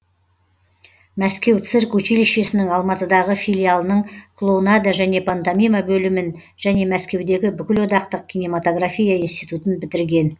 мәскеу цирк училищесінің алматыдағы филиалының клоунада және пантомима бөлімін және мәскеудегі бүкілодақтық кинематография институтын бітірген